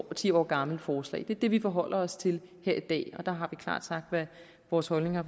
ti år gammelt forslag det er det vi forholder os til her i dag og der har vi klart sagt hvad vores holdning er